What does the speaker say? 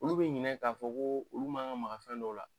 Olu bi ɲinɛ k'a fɔ ko olu mankan ma ka fɛn dɔw la